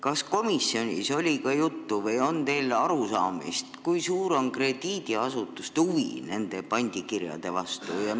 Kas komisjonis oli juttu või teil on lihtsalt arusaamist, kui suur on krediidiasutuste huvi nende pandikirjade vastu?